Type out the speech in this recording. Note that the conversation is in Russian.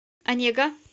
онега